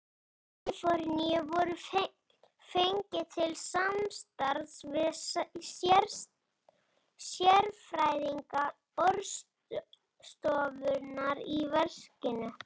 Kaliforníu voru fengnir til samstarfs við sérfræðinga Orkustofnunar í verkinu.